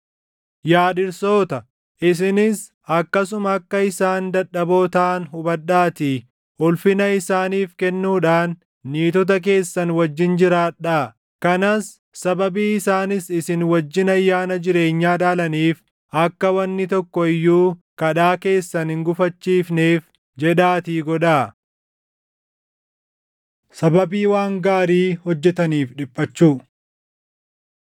Yaa dhirsoota, isinis akkasuma akka isaan dadhaboo taʼan hubadhaatii ulfina isaaniif kennuudhaan niitota keessan wajjin jiraadhaa; kanas sababii isaanis isin wajjin ayyaana jireenyaa dhaalaniif akka wanni tokko iyyuu kadhaa keessan hin gufachiifneef jedhaatii godhaa. Sababii Waan Gaarii Hojjetaniif Dhiphachuu